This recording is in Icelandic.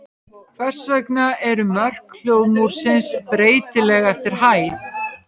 Hvers vegna eru mörk hljóðmúrsins breytileg eftir hæð?